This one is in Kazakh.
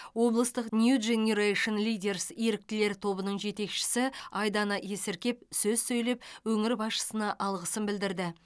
облыстық нью дженирэйшн лидерс еріктілер тобының жетекшісі айдана есіркеп сөз сөйлеп өңір басшысына алғысын білдірді